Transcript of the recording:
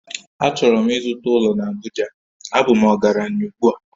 Achọrọ m ịzụta ụlọ na Abuja, a bụ m ọgaranya ugbu a